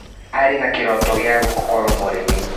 Arĩ na kĩroto gia gũkorwo mũrĩmi.